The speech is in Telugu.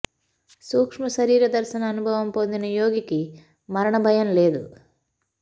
సూక్ష్మ శరీర దర్శన అనుభవం పొందిన యోగికి మరణ భయం లేదు